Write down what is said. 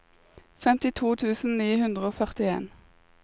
femtito tusen ni hundre og førtien